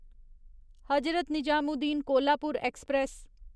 Hazrat Nizamuddin Kolhapur express